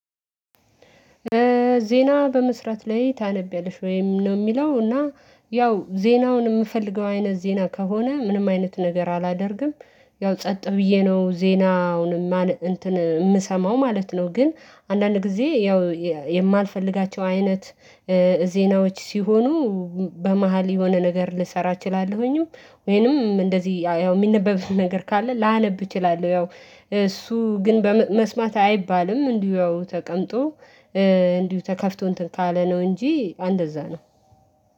ዜና በመስራት ላይ ታነቢያለሽ ወይ? ነው የሚለው እና ያው ዜናውን የምፈልገው አይነት ዜና ከሆነ ምንም አይነት ነገር አላደርግም ያው ጸጥ ብዬ ነው ዜናውን የማነብ እንትን የምሰማው ማለት ነው ግን አንዳንድ ጊዜ ያው የማልፈልጋቸው አይነት ዜናዎች ሲሆኑ በመሃል የሆነ ነገር ልሰራ እችላለሁኝም ወይንም እንደዚህ ያው የሚነበብን ነገር ካለ ላነብ እችላለሁ ያው እሱ ግን በመስማት አይባልም እንዲሁ ተቀምጦ እንዲሁ ተከፍቶ እንትን ካለ ነው እንጂ እንደዛ ነው